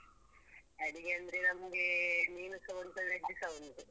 ಅಡಿಗೆ ಅಂದ್ರೆ ನಮ್ಗೆ ಮೀನುಸ ಉಂಟು veg ಸ ಉಂಟು.